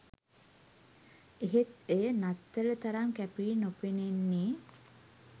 එහෙත් එය නත්තල තරම් කැපී නොපෙනෙන්නේ